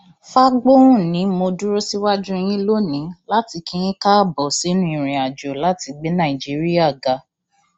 fagbohun ni mo dúró síwájú yín lónìí láti kí yín káàbọ sínú ìrìnàjò láti gbé nàìjíríà ga